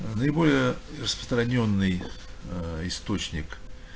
а наиболее распространённый ээ источник